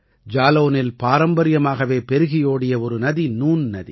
ஜாலௌனில் பாரம்பரியமாகவே பெருகியோடிய ஒரு நதி நூன் நதி